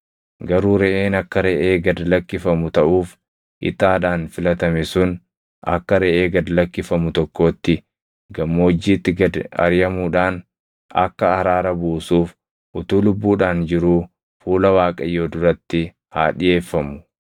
Garuu reʼeen akka reʼee gad lakkifamu taʼuuf ixaadhaan filatame sun akka reʼee gad lakkifamu tokkootti gammoojjiitti gad ariʼamuudhaan akka araara buusuuf utuu lubbuudhaan jiruu fuula Waaqayyo duratti haa dhiʼeeffamu.